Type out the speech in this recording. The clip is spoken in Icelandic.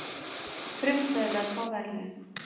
Frumkvöðlar fá verðlaun